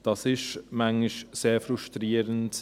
Das ist manchmal sehr frustrierend.